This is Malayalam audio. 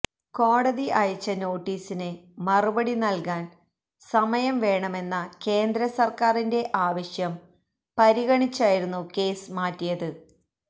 കോടതി അയച്ച നോട്ടീസിന് മറുപടി നല്കാന് സമയം വേണമെന്ന കേന്ദ്ര സര്ക്കാരിന്റെ ആവശ്യം പരിഗണിച്ചായിരുന്നു കേസ് മാറ്റിയത്